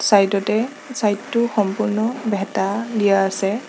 Side তে side টো সম্পূৰ্ণ ভেঁটা দিয়া আছে।